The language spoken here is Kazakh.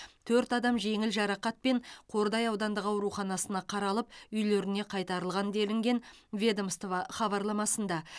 төрт адам жеңіл жарақатпен қордай аудандық ауруханасына қаралып үйлеріне қайтарылған делінген ведомство хабарламасында